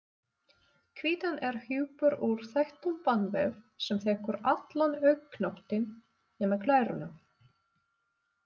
Hvítan er hjúpur úr þéttum bandvef sem þekur allan augnknöttinn nema glæruna.